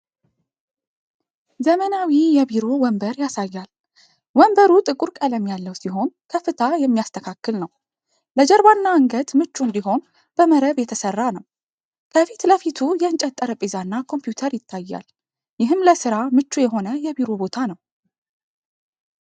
ዘመናዊ የቢሮ ወንበር ያሳያል። ወንበሩ ጥቁር ቀለም ያለው ሲሆን ከፍታ የሚስተካከል ነው። ለጀርባና አንገት ምቹ እንዲሆን በመረብ የተሠራ ነው። ከፊት ለፊቱ የእንጨት ጠረጴዛ እና ኮምፒውተር ይታያል። ይህም ለሥራ ምቹ የሆነ የቢሮ ቦታ ነው።